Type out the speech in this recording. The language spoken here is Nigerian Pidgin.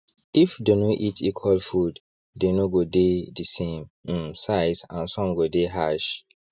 if they no eat equal fooddey no go dey d same um size and some go dey harsh